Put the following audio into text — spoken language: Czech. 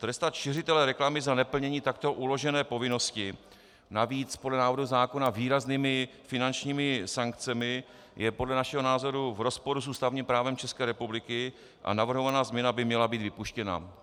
Trestat šiřitele reklamy za neplnění takto uložené povinnosti, navíc podle návrhu zákona výraznými finančními sankcemi, je podle našeho názoru v rozporu s ústavním právem České republiky a navrhovaná změna by měla být vypuštěna.